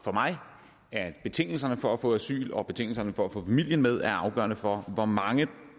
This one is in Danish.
for mig at betingelserne for at få asyl og betingelserne for at få familien med er afgørende for hvor mange